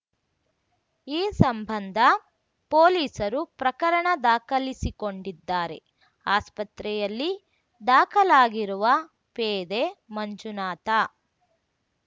ಈ ಸಂಬಂಧ ಪೊಲೀಸರು ಪ್ರಕರಣ ದಾಖಲಿಸಿಕೊಂಡಿದ್ದಾರೆ ಆಸ್ಪತ್ರೆಯಲ್ಲಿ ದಾಖಲಾಗಿರುವ ಪೇದೆ ಮಂಜುನಾಥ